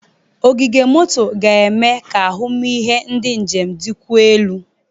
Ogige moto ga-eme ka ahụmịhe ndị njem dịkwuo elu.